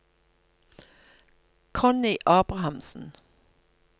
Connie Abrahamsen